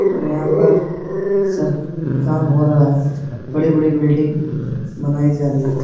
और यहाँ पर सर्क काम हो रहा है। बड़े-बड़े बिल्डिंग बनाई जा रही है।